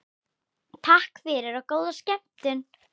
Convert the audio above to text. Takk fyrir og góða skemmtun.